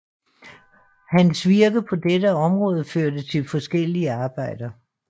Hans virke på dette område førte til forskellige arbejder